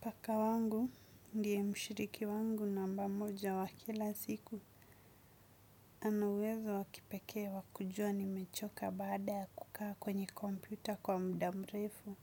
Paka wangu ndio mshiriki wangu namba moja wa kila siku. Ana uwezo wakipekee wakujua nimechoka baada ya kukaa kwenye kompyuta kwa muda mrefu.